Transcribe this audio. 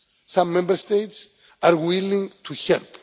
Some Member States are willing to help.